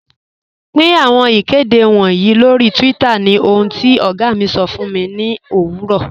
Pin awọn ikede wọǹyì lọ́ri twitter ni ohun ti ọ̀gá mi sọ̀ fun mi ni owurọ̀.